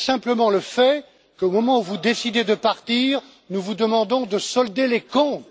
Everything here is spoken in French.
Il y a simplement le fait qu'au moment où vous décidez de partir, nous vous demandons de solder les comptes.